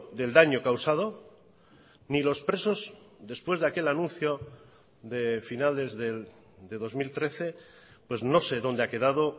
del daño causado ni los presos después de aquel anuncio de finales de dos mil trece pues no se dónde ha quedado